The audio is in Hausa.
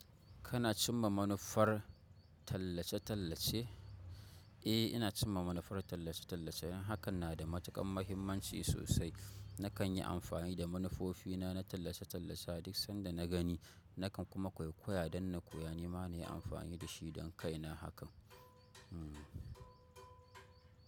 Kana cimma manufar tallace-tallace? Eh, ina cimma manufar tallace-tallace. Hakan na da matuƙan mahimmanci sosai. Nakan yi amfani da manufofi na na tallace-tallace a duk sanda na gani, na kan kuma kwaikwaya don na koya. Ni ma na yi amfani da shi don kaina hakan. Hmm.